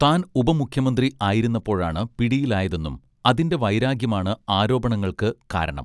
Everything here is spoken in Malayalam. താൻ ഉപമുഖ്യമന്ത്രി ആയിരുന്നപ്പോഴാണ് പിടിയിലായതെന്നും അതിന്റെ വൈരാഗ്യമാണ് ആരോപണങ്ങൾക്ക് കാരണം